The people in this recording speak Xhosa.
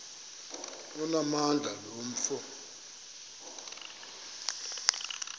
onamandla lo mfo